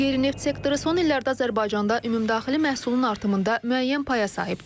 Qeyri-neft sektoru son illərdə Azərbaycanda ümumdaxili məhsulun artımında müəyyən paya sahibdir.